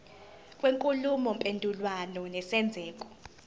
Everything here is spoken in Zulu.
kwenkulumo mpendulwano nesenzeko